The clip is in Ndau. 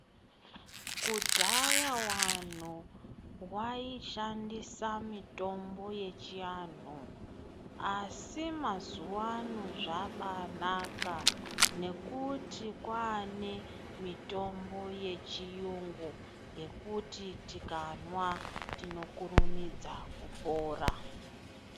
Kudhaya wanhu waishandisa mitombo yechianhu. Asi mazuwa ano zvabaanaka ngekuti kwaane mitombo yechiyungu yekuti tikanwa tinokurumidza kupora.